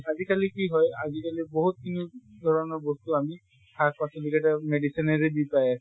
আজি কালি কি হয় বহুত কি ধৰণৰ বস্তু আমি শাক পাচলী কেইটা medicine ৰে যি পাই আছে